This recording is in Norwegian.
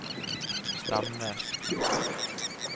Stamnes